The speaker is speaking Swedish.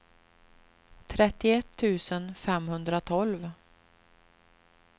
trettioett tusen femhundratolv